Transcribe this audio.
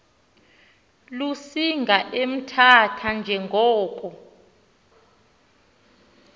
lusinga emthatha njengoko